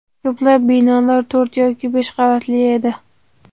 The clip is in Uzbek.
Ko‘plab binolar to‘rt yoki besh qavatli edi.